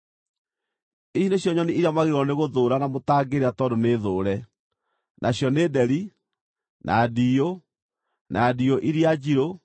“ ‘Ici nĩcio nyoni iria mwagĩrĩirwo nĩgũthũũra na mũtangĩrĩa tondũ nĩ thũũre; nacio nĩ nderi, na ndiyũ, na ndiyũ iria njirũ,